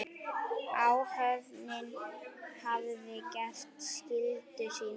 Áhöfnin hafði gert skyldu sína.